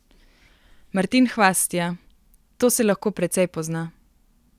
Martin Hvastija: "To se lahko precej pozna.